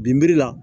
Binbiri la